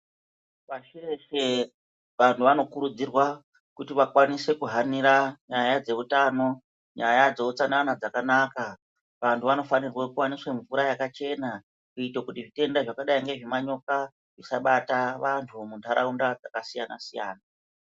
Pashi reshe vantu vanokurudzirwa kuti vakwanise kuhanira nyaya dzeutano nyaya dzeutsanana dzakanaka vantu vanofanirwa kuwaniswa mvura yakachena kuitira kuti zvitenda zvakadai ngezvemanyoka zvisabata vantu muntaraunda dzakasiyana.